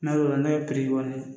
N'a y'o la piri